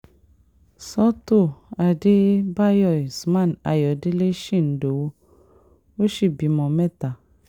sọ́tò àdébàyò usam ayọ̀dẹ̀lẹ̀ usam ayọ̀dẹ̀lẹ̀ shindowo ó sì bímọ mẹ́ta